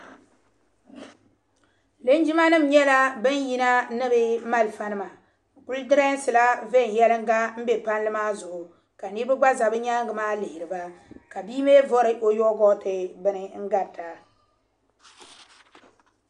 Linjima nim nyɛla bin yina ni bi malifa nima bi kuli di rɛɛsi la viɛn yelinga n be palli maa zuɣu ka niriba gba za bi nyaanga maa lihiri ba ka bia mi vari o yaba waachi bini n gari ta.